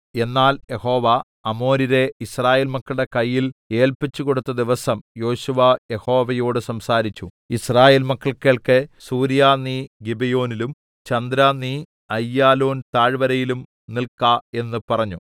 എന്നാൽ യഹോവ അമോര്യരെ യിസ്രായേൽ മക്കളുടെ കയ്യിൽ ഏല്പിച്ചുകൊടുത്ത ദിവസം യോശുവ യഹോവയോട് സംസാരിച്ചു യിസ്രായേൽ മക്കൾ കേൾക്കെ സൂര്യാ നീ ഗിബെയോനിലും ചന്ദ്രാ നീ അയ്യാലോൻ താഴ്‌വരയിലും നില്ക്ക എന്ന് പറഞ്ഞു